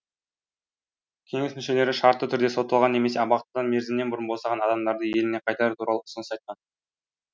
кеңес мүшелері шартты түрде сотталған немесе абақтыдан мерзімінен бұрын босаған адамдарды еліне қайтару туралы ұсыныс айтқан